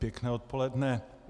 Dobré odpoledne.